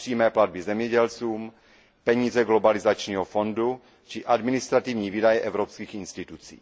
přímé platby zemědělcům, peníze globalizačního fondu či administrativní výdaje evropských institucí.